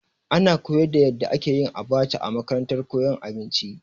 Ana koyar da yadda ake yin abacha a makarantar koyon abinci.